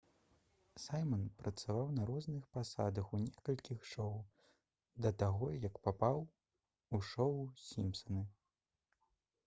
сайман працаваў на розных пасадах у некалькіх шоў да таго як папаў у шоў «сімпсаны»